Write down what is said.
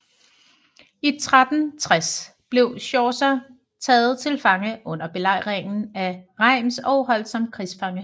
I 1360 blev Chaucer taget til fange under belejringen af Reims og holdt som krigsfange